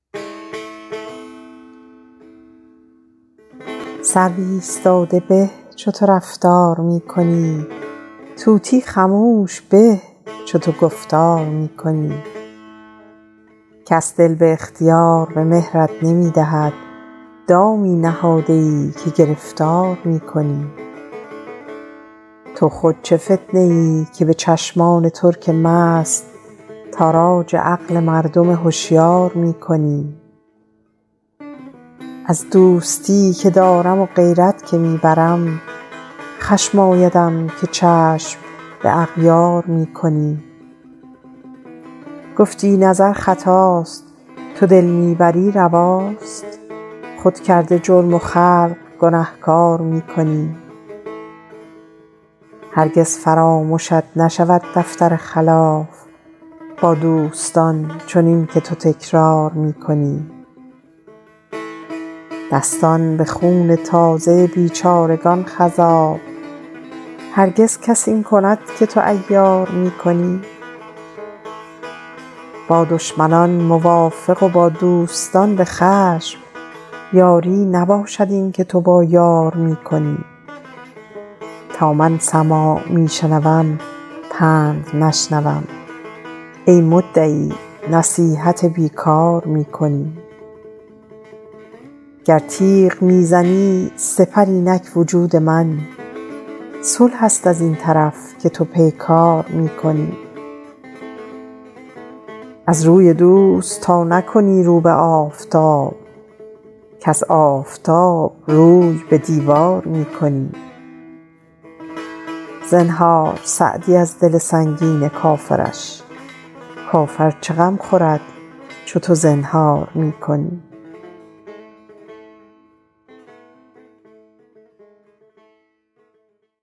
سرو ایستاده به چو تو رفتار می کنی طوطی خموش به چو تو گفتار می کنی کس دل به اختیار به مهرت نمی دهد دامی نهاده ای که گرفتار می کنی تو خود چه فتنه ای که به چشمان ترک مست تاراج عقل مردم هشیار می کنی از دوستی که دارم و غیرت که می برم خشم آیدم که چشم به اغیار می کنی گفتی نظر خطاست تو دل می بری رواست خود کرده جرم و خلق گنهکار می کنی هرگز فرامشت نشود دفتر خلاف با دوستان چنین که تو تکرار می کنی دستان به خون تازه بیچارگان خضاب هرگز کس این کند که تو عیار می کنی با دشمنان موافق و با دوستان به خشم یاری نباشد این که تو با یار می کنی تا من سماع می شنوم پند نشنوم ای مدعی نصیحت بی کار می کنی گر تیغ می زنی سپر اینک وجود من صلح است از این طرف که تو پیکار می کنی از روی دوست تا نکنی رو به آفتاب کز آفتاب روی به دیوار می کنی زنهار سعدی از دل سنگین کافرش کافر چه غم خورد چو تو زنهار می کنی